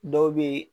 Dɔw be yen